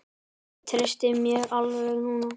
Ég treysti mér alveg núna!